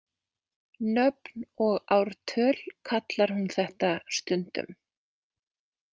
Nöfn og ártöl kallar hún þetta stundum.